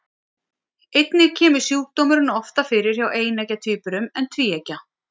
Einnig kemur sjúkdómurinn oftar fyrir hjá eineggja tvíburum en tvíeggja.